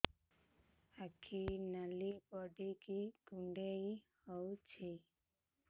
ଆଖି ନାଲି ପଡିକି କୁଣ୍ଡେଇ ହଉଛି